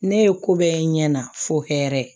Ne ye ko bɛɛ ɲɛ fo hɛrɛ ye